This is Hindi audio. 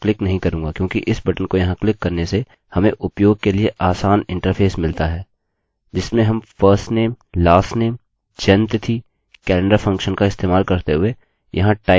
मैं इस insert बटन को क्लिक नहीं करूँगा क्योंकि इस बटन को यहाँ क्लिक करने से हमें उपयोग के लिए आसान इंटरफेस मिलता है जिसमें हम `firstnamelastnameजन्म तिथि कैलेंडर फंक्शन का इस्तेमाल करते हुए यहाँ टाइप कर सकते हैं